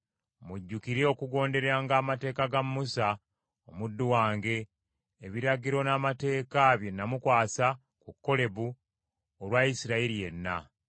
“Mujjukire okugonderanga amateeka ga Musa omuddu wange, ebiragiro n’amateeka bye namukwasa ku Kolebu olwa Isirayiri yenna.